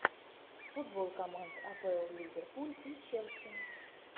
футбол команд апл ливерпуль и челси